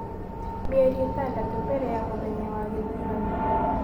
Mĩeri ĩtandatũ mbere ya mũthenya wa gĩthurano.